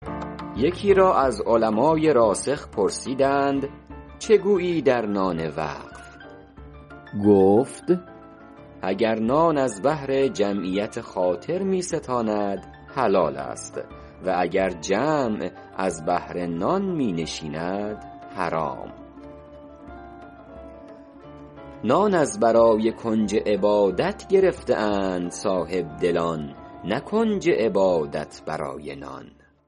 یکی را از علمای راسخ پرسیدند چه گویی در نان وقف گفت اگر نان از بهر جمعیت خاطر می ستاند حلال است و اگر جمع از بهر نان می نشیند حرام نان از برای کنج عبادت گرفته اند صاحبدلان نه کنج عبادت برای نان